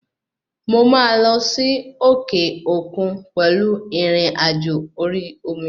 Mo máa lọ sí òkè òkun pẹ̀lú ìrìnàjò orí omi